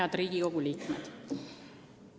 Head Riigikogu liikmed!